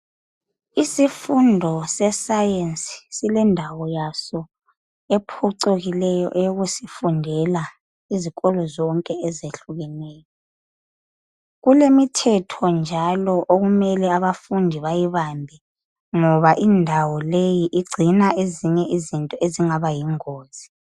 Isifundo sesayensi silendawo yaso ephucukileyo eyokusifundela izikolo zonke ezehlukeneyo. Kulemithetho njalo okumele abafundi bayibambe ngoba indawo leyi igcina ezinye izinto ezingaba yingozi.